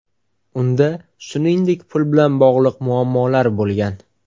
Unda, shuningdek, pul bilan bog‘liq muammolar bo‘lgan.